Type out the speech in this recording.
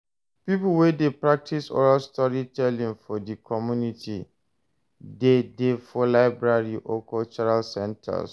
Pipo wey de practice oral storytelling for di community de dey for library or cultural centers